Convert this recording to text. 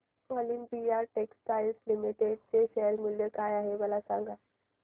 Olympia textiles limited चे share मूल्य काय आहे सांगा बरं